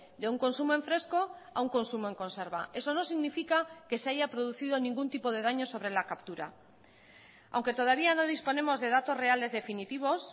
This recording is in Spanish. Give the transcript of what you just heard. de un consumo en fresco a un consumo en conserva eso no significa que se haya producido ningún tipo de daños sobre la captura aunque todavía no disponemos de datos reales definitivos